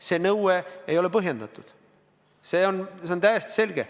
See nõue ei ole põhjendatud, see on täiesti selge.